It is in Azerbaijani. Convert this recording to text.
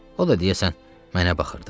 O da deyəsən mənə baxırdı.